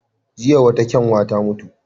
Jiya wata kyanwa ta mutu.